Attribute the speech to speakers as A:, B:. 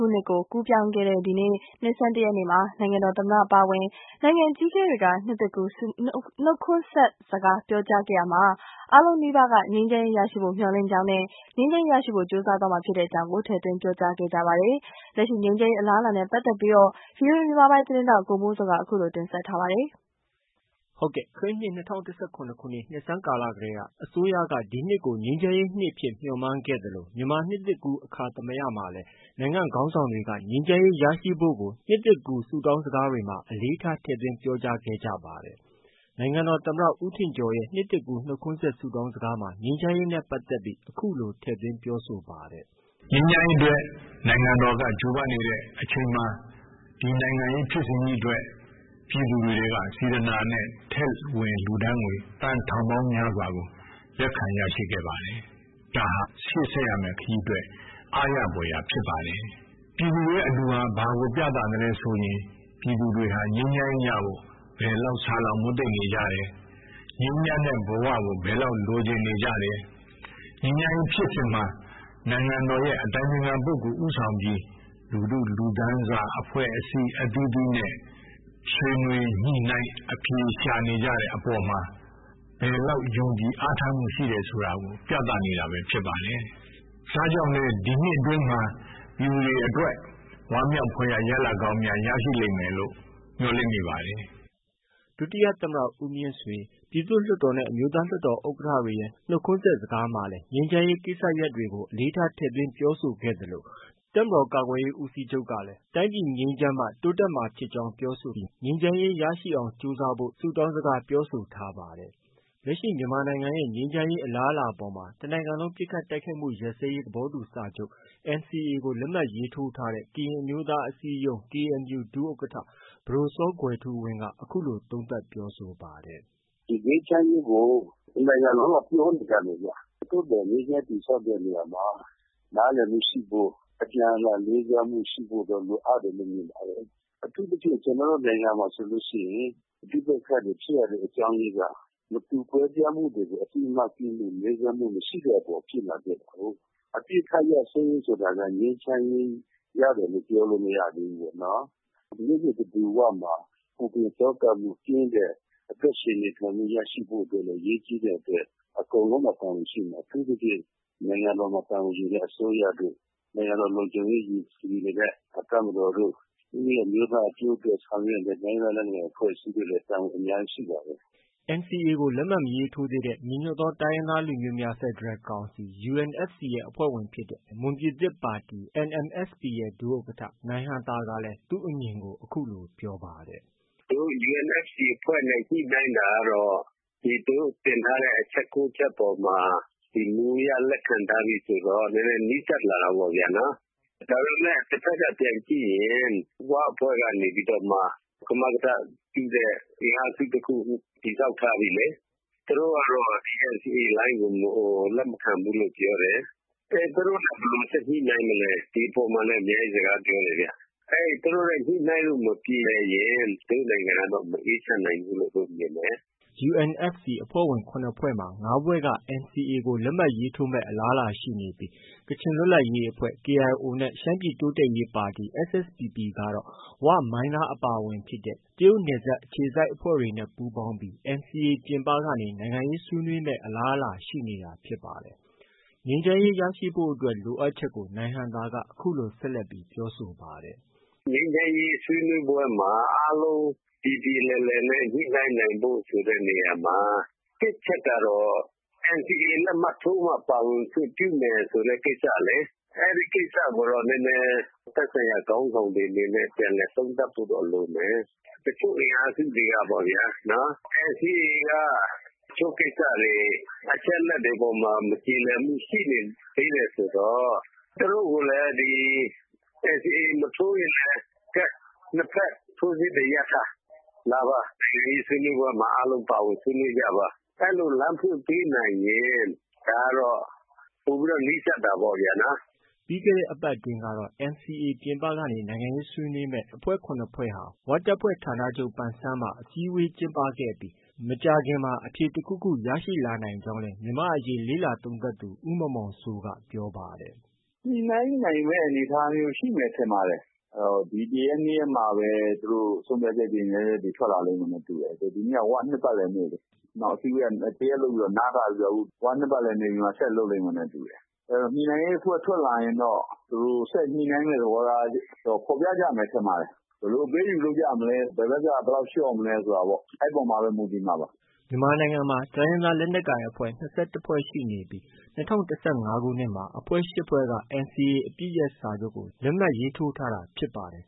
A: နှစ်ကို ကူးပြောင်းခဲ့တဲ့ ဒီကနေ့ နှစ်ဆန်းတရက်နေ့မှာ နိုင်ငံတော်သမ္မတအပါအဝင် နိုင်ငံအကြီးအကဲတွေက နှစ်သစ်ကူးနှုတ်ခွန်းဆက် စကား ပြောကြားခဲ့ရာမှာ အားလုံးနီးပါးက ငြိမ်းချမ်းရေးရရှိဖို့ မျှော်လင့်ကြောင်းနဲ့ ငြိမ်းချမ်းရေးရရှိဖို့ ကြိုးစားသွားမှာဖြစ်ကြောင်းတွေကို ထည့်သွင်းပြောကြားခဲ့ပါတယ်။ လက်ရှိ ငြိမ်းချမ်းရေး အလားအလာ နဲ့ပတ်သက်ပြီး ဗွီအိုအေမြန်မာပိုင်းရဲ့သတင်းထောက် ကိုမိုးဇော်က အခုလို တင်ပြထားပါတယ်။
B: ခရစ်နှစ်၂၀၁၇ခုနှစ် နှစ်ဆန်းကာလတည်းက အစိုးရက ဒီနှစ်ကို ငြိမ်းချမ်းရေးနှစ်အဖြစ် မျှော်မှန်းခဲ့သလို မြန်မာနှစ်သစ်ကူးအခါသမယမှာလည်း နိုင်ငံခေါင်းဆောင်တွေက ငြိမ်းချမ်းရေးရရှိဖို့ကို နှစ်သစ်ကူးဆုတောင်းစကားတွေမှာ အလေးထားထည့်သွင်းပြောကြားခဲ့ကြပါတယ်။ နိုင်ငံတော် သမ္မတ ဦးထင်ကျော်ရဲ့ နှစ်သစ်ကူး နှုတ်ခွန်းဆက် ဆုတောင်းစကားမှာ ငြိမ်းချမ်းရေးနဲ့ပတ်သက်ပြီး အခုလို ထည့်သွင်းပြောဆိုပါတယ်
C: ။ “ ငြိမ်းချမ်းရေးအတွက်
B: နိုင်ငံတော်က ကြိုးပမ်းနေတဲ့အချိန်မှာ ဒီနိုင်ငံရေး ဖြစ်စဉ်ကြီးအတွက် ပြည်သူတွေက
A: စေတနာနဲ့ထည့်ဝင်လှူဒါန်းငွေ သန်းထောင် ပေါင်းများစွာကို လက်ခံရရှိခဲ့ပါတယ်။ ဒါဟာ ရှေ့ဆက်ရမယ့် ခရီးအတွက် အားရ ဖွယ်ရာ ဖြစ်ပါတယ်။ ပြည်သူတွေရဲ့အလှူဟာ ဘာကိုပြသလဲဆိုရင်၊ ပြည်သူတွေဟာ ငြိမ်းချမ်းရေးရဖို့ ဘယ်လောက်ဆာလောင် မွတ်သိပ်နေကြတယ်၊ ငြိမ်းချမ်းတဲ့ဘ၀ ကို ဘယ်လောက်လိုချင်နေကြတယ်၊ ငြိမ်းချမ်းရေး ဖြစ်စဉ်မှာ နိုင်ငံတော်ရဲ့ အတိုင် ပင်ခံပုဂ္ဂိုလ် ဦးဆောင်ပြီး လူထုလူတန်းစားအဖွဲ့အစည်းအသီးသီးနဲ့ ဆွေးနွေး ညှိနှိုင်းအဖြေရှာ နေကြတဲ့အပေါ်မှာ ဘယ်လောက်ယုံကြည်အားထားမှုရှိတယ် ဆိုတာကို ပြသနေတာဖြစ်ပါတယ်။ ဒါကြောင့်လည်း ဒီနှစ်အတွင်းမှာ ပြည်သူတွေ အတွက် ဝမ်းမြောက်ဖွယ်ရာ ရလဒ်ကောင်းများ ရရှိလိမ့်မယ်လို့ မျှော်လင့်မိပါ တယ်
B: ။” ဒုတိယသမ္မတ ဦးမြင့်ဆွေ၊ ပြည်သူ့လွှတ်တော်နဲ့ အမျိုးသားလွှတ်တော်ဥက္ကဌတွေရဲ့ နှုတ်ခွန်းဆက်စကားမှာလည်း ငြိမ်းချမ်းရေးကိစ္စရပ်ကို အလေးထားထည့်သွင်းပြောဆိုခဲ့သလို တပ်မတော်ကာကွယ်ရေးဦးစီးချုပ်ကလည်း တိုင်းပြည်ငြိမ်းချမ်းမှ တိုင်း ပြည်တိုးတက်မှာဖြစ်ကြောင်းပြောဆိုပြီး ငြိမ်းချမ်းရေးရရှိအောင်ကြိုးစားဖို့ ဆုတောင်းစကားပြောဆိုထားပါတယ်။ လက်ရှိမြန်မာပြည်ရဲ့ ငြိမ်းချမ်းရေးအလားအလာအပေါ်မှာတော့ တနိုင်ငံလုံးပစ်ခတ်တိုက်ခိုက်မှုရပ်စဲရေး သဘောတူစာချုပ် NCA ကို လက်မှတ်ရေးထိုးထားတဲ့ ကရင်အမျိုးသားအစည်းအရုံး ဒုဥက္ကဌ ပဒိုစောကွယ်ထူးဝင်းက အခုလို သုံးသပ်ပြောဆိုပါတယ
C: ်။ “ငြိမ်းချမ်းရေးကို တနိုင်ငံပြောနေကြတယ်ခင်ဗျ သို့သော်ငြိမ်းချမ်းရေးတည်ဆောက်တဲ့နေရာမှာ နားလည်မှုရှိဖို့ ၊ အပြန်အလှန်လေးစားမှုရှိဖို့ လိုအပ်တယ်လို့ မြင်ပါတယ်။ အထူးသဖြင့် ကျနေ်ာတို့နိုင်ငံမှာဆိုရင် ပဋိပက္ခတွေဖြစ်ရတဲ့အကြောင်းအရင်းက မတူကွဲပြားမှုကို အသိအမှတ်ပြုမှု၊ လေးစားမှုမရှိတဲ့အတွက် အပစ်အခတ်ရပ်စဲရေးဆိုတာလည်း ငြိမ်းချမ်းရေး ရတယ်လို့ပြောလို့မရသေးဘူး။ နေ့တဓူဝမှာပူပင်သောကကင်းပြီး အသက်ရှင်နေထိုင်မှုရရှိဖို့ အတွက်လည်း အရေးကြီးတဲ့အတွက် အထူးသဖြင့် နိုင်ငံတော်တာဝန်ယူတဲ့ အစိုးရတို့၊ နိုင်ငံတော်လုံခြုံရေးယူတဲ့ တပ်မတော်တို့၊ ကိုယ့် အမျိုးသားအကျိုးအတွက်ဆောင်ရွက်တဲ့ တိုင်းရင်းသားလက်နက်ကိုင်အဖွဲ့အစည်းတွေ အားလုံးအတွက် တာဝန်အများကြီးရှိပါတယ်
B: ။” NCA ကို လက်မှတ်မရေးထိုးသေးတဲ့ ညီညွတ်သောတိုင်းရင်းသားလူမျိုးများဖက်ဒရယ်ကောင်စီ UNFC ရဲ့ အဖွဲ့ဝင်ဖြစ်တဲ့ မွန်ပြည်သစ်ပါတီရဲ့ ဒုဥက္ကဌ နိုင်ဟံသာကလည်း သူ့အမြင်ကို အခုလို ပြောပါတယ်။
C: “ကျနော်တို့ UNFC အဖွဲ့နဲ့ ညှိနှိုင်းတာကတော့ သူတို့တင်ထားတဲ့ အချက် ၉ ချက်အပေါ်မှာ မူအရလက်ခံထားပြီဆိုတော့ နည်းနည်းနီးစပ်လာတာပေါ့နော်။ ဒါပေမယ့် တဖက်က ပြန်ကြည့်ရင် အခု ဝအဖွဲ့ကနေပြီးတော့မှ ကမကထပြုတဲ့ အင်အားစု တခုခု တည်ဆောက်ထားပြီလေ၊ သူတို့ကတော့ လက်မခံဘူးလို့ပြောတယ် အဲဒါသူတို့နဲ့ ဘယ်လိုဆက်ပြီးညှိနှိုင်းမလဲ ဒီအပေါ်မှာလည်း အများကြီးစကားပြောတယ်ခင်ဗျ။ သူတို့နဲ့ ညှိနှိုင်းလို့ မပြေလည်ရင် ကျနော်တို့နိုင်ငံက မအေးချမ်းနိုင်ဘူးလို့ မြင်တယ်။”
B: UNFC အဖွဲ့ဝင် ၇ဖွဲ့မှာ ၅ဖွဲ့က NCA ကိုလက်မှတ်ရေးထိုးမယ့် အလားအလာရှိနေပြီး ကချင်လွတ်လပ်ရေးအဖွဲ့ KIO နဲ့ ရှမ်းပြည်တိုးတက်ရေးပါတီ SSPPကတော့ ဝ၊ မိုင်းလားအပါအဝင် တရုတ်နယ်စပ်အခြေစိုက်အဖွဲ့တွေနဲ့ ပူးပေါင်းပြီး NCA ပြင်ပကနေ နိုင်ငံရေးဆွေးနွေးမယ့်အလားအလာရှိနေတာဖြစ်ပါတယ်။ ငြိမ်းချမ်းရေးရရှိဖို့အတွက်လိုအပ်ချက်ကို နိုင်ဟံသာက အခုလို ဆက်လက်ပြောဆ
C: ိုပါတယ်။ “ငြိမ်းချမ်းရေးဆွေးနွေးပွဲမှာ အားလုံးပြေပြေလည်လည်နဲ့ ညှိနှိုင်းနိုင်ဖို့ ဆိုတဲ့နေရာတွေမှာ ၁ အချက်ကတော့ NCA လက်မှတ်ထိုးမှ ပါဝင်ခွင့်ပြုမယ်ဆိုတဲ့ ကိစ္စလေ။ အဲဒီကိစ္စကိုတော့ သက်ဆိုင်ရာခေါင်းဆောင်တွေအနေနဲ့ ပြန်ပြီးသုံးသပ်ဖို့လိုမယ်။ တချို့အင်အားစုတွေကတော့ NCA က တချို့ကိစ္စတွေ အချက်အလက်တွေပေါ်မှာ မပြေလည်မှုရှိနေသရွေ့ဆိုတော့ သူတို့ကိုလည်း NCA လက်မှတ်ထိုးမထိုးရင်လည်း ၂ ဖက် စစ်တွေရပ်ထား ၊ လာပါ ဒီဆွေးနွေးပွဲမှာ အားလုံးပါဝင်ဆွေးနွေးကြပါ အဲဒီလို လမ်းဖွင့်ပေးနိုင်ရင် ပိုပြီးတော့ နီးစပ်တာပေါ့ခင်ဗျ။”
B: ပြီးခဲ့တဲ့အပတ်အတွင်းကတော့ NCA ပြင်ပကနေ နိုင်ငံရေးဆွေးနွေးမယ့် အဖွဲ့ ၇ဖွဲ့ဟာ ဝတပ်ဖွဲ့ဌာနချုပ်မှာ အစည်းအဝေးကျင်းပခဲ့ပြီး မကြာခင်မှာ အဖြေတခုခု ရလာနိုင်ကြောင်းလည်း မြန်မာနိုင်ငံရေးလေ့လာသုံးသပ်သူ ဦးမောင်မောင်စိုးကပြောပါတယ်
C: ။ “ညှိနှိုင်းနိုင်မယ့်အနေအထားမျိုးရှိမယ်ထင်ပါတယ်။ ဒီ ၁ ရက်၊ ၂ ရက်မှာပဲ ဆုံးဖြတ်ချက်တွေထွက်လာလိမ့်မယ်လို့ ထင်တယ်။ ဒီနေ့က ၀ နှစ်ပတ်လည်နေ့လေ၊ အစည်းအဝေးက ၁ ရက်လုပ်ပြီးတော့ နားထားတယ်ဆိုတော့ ၀ နှစ်ပတ်လည်နေ့ပြီးမှ ဆက်လုပ်လိမ့်မယ်လို့ထင်တယ်။ ညိနှိုင်းရေးအဖွဲ့ထွက်လာရင်တော့ သူတို့ဆက်ပြီး ညှိနိုင်းမှုတွေကို ဖော်ပြကြမယ်ထင်ပါတယ်။ ဘယ်လိုအပေးအယူလုပ်မလဲ ဘယ်ဘက်က ဘယ်လောက်လျှော့မလဲဆိုတာပေါ့ အဲဒီအပေါ်မှာပဲ မူတည်မှပါ။”
B: မြန်မာနိုင်ငံမှာ တိုင်းရင်းသားလက်နက်ကိုင်အဖွဲ့ ၂၁ဖွဲ့ရှိနေပြီး
C: ၂၀၁၅ခုနှစ်မှာ အဖွဲ့ ၈ဖွဲ့က NCA အပစ်ရပ်စာချုပ်ကို လက်မှတ်ရေးထိုးထားတာဖြစ်ပါတယ်